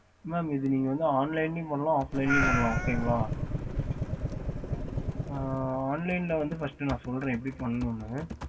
okey sir